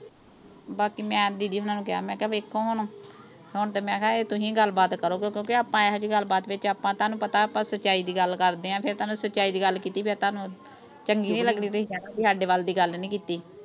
ਬਾਕੀ ਮੈਂ didi ਹੁਣਾਂ ਨੂੰ ਕਿਹਾ, ਮੈਂ ਕਿਹਾ ਦੇਖੋ ਹੁਣ, ਹੁਣ ਤਾਂ ਮੈਂ ਕਿਹਾ ਤੁਸੀਂ ਗੱਲਬਾਤ ਕਰੋਗੇ, ਕਿਉਂਕਿ ਆਪਾਂ ਇਹੋ ਜੀ ਗੱਲਬਾਤ ਵਿੱਚ ਤੁਹਾਨੂੰ ਪਤਾ ਆਪਾਂ ਸੱਚਾਈ ਦੀ ਗੱਲ ਕਰਦੇ ਹਾਂ। ਫਿਰ ਤੁਹਾਨੂੰ, ਸੱਚਾਈ ਦੀ ਗੱਲ ਕੀਤੀ ਫਿਰ ਤੁਹਾਨੂੰ ਚੰਗੀ ਨੀਂ ਲੱਗਣੀ। ਤੁਸੀਂ ਕਹਿਣਾ ਵੀ ਸਾਡੇ ਵੱਲ ਦੀ ਗੱਲ ਨੀਂ ਕੀਤੀ।